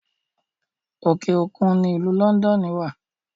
Òkè òkun ni ìlú Lọ́ndọ́ọ́nù wà